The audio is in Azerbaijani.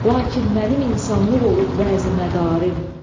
Lakin mənim insanlıq olub vəzi mədarım.